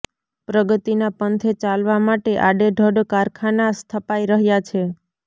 પ્રગતિના પંથે ચાલવા માટે આડેધડ કારખાના સ્થપાઈ રહ્યા છે